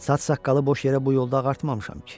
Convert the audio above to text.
Saç saqqalı boş yerə bu yolda ağartmamışam ki.